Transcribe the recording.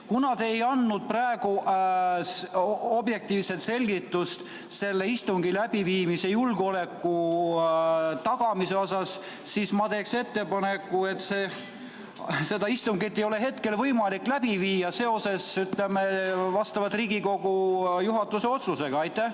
Kuna te ei andnud praegu objektiivset selgitust selle istungi läbiviimise julgeoleku tagamise kohta, siis ma arvan, et seda istungit ei ole praegu võimalik nii läbi viia, nagu Riigikogu juhatuse otsus ette näeb.